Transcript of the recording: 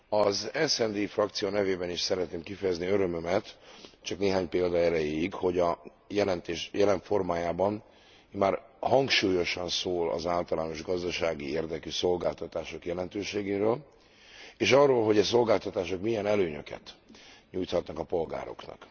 Az SD frakció nevében is szeretném kifejezni örömömet, csak néhány példa erejéig, hogy a jelentés jelen formájában már hangsúlyosan szól az általános gazdasági érdekű szolgáltatások jelentőségéről, és arról, hogy e szolgáltatások milyen előnyöket nyújthatnak a polgároknak.